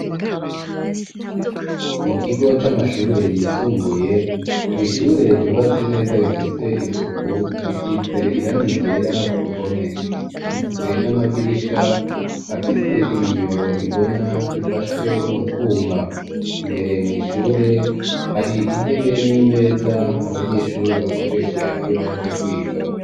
Mu kigo c'amashure yisumbuye, mw'ishure ryubatse neza rifise isuku, risize irangi ryera ku ruhome, rifise n'amadirisha afise ibiyo bibona, bifashwe n'utwuma, imbere mw'ishure hari intebe n'imeza, abanyeshuri bakoresha iyo baje kwiga.